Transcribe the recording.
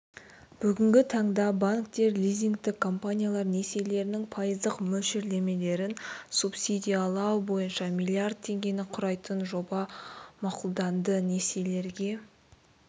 бүгінгі таңда банктер лизингтік компаниялар несиелерінің пайыздық мөлшерлемелерін субсидиялау бойынша миллиард теңгені құрайтын жоба мақұлданды несиелерге